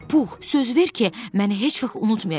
Pux, söz ver ki, məni heç vaxt unutmayacaqsan.